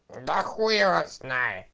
да хуй его знает